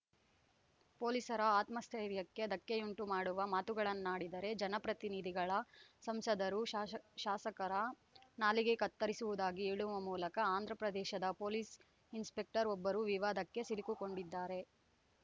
ಪೊಲೀಸರ ಆತ್ಮಸ್ಥೈರ್ಯಕ್ಕೆ ಧಕ್ಕೆಯುಂಟು ಮಾಡುವ ಮಾತುಗಳನ್ನಾಡಿದರೆ ಜನಪ್ರತಿನಿಧಿಗಳ ಸಂಸದರು ಶಾಶ ಶಾಸಕರ ನಾಲಿಗೆ ಕತ್ತರಿಸುವುದಾಗಿ ಹೇಳುವ ಮೂಲಕ ಆಂಧ್ರ ಪ್ರದೇಶದ ಪೊಲೀಸ್‌ ಇನ್‌ಸ್ಪೆಕ್ಟರ್‌ ಒಬ್ಬರು ವಿವಾದಕ್ಕೆ ಸಿಲುಕು ಕೊಂಡಿದ್ದಾರೆ